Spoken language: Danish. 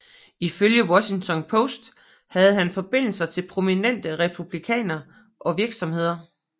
Ifølge Washington Post havde han forbindelser til prominente Republikanere og virksomheder